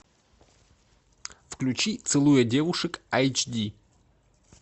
включи целуя девушек айч ди